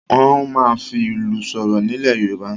Wọ́n máa ń fi ìlù sọ̀rọ̀ nílẹ̀ Yorùbá.